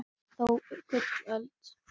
kalla þó gullöld